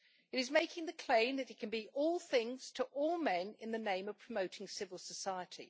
It is making the claim that it can be all things to all men in the name of promoting civil society.